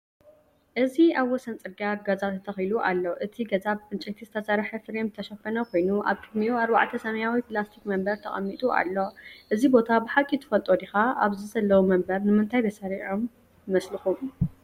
እዚ ኣብ ወሰን ጽርግያ ገዛ ተተኺሉ ኣሎ። እቲ ገዛ ብዕንጨይቲ ዝተሰርሐ ፍሬም ዝተሸፈነ ኮይኑ፡ ኣብ ቅድሚኡ ኣርባዕተ ሰማያዊ ፕላስቲክ መንበር ተቐሚጡ ኣሎ። እዚ ቦታ ብሓቂ ትፈልጦ ዲኻ? ኣብዚ ዘለዉ መንበር ንምንታይ ተሰሪዖም ይመስለኩም?